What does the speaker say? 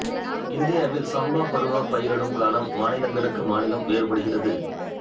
இந்தியாவில் சம்பா பருவ பயிரிடும் காலம் மாநிலங்களுக்கு மாநிலம் வேறுபடுகிறது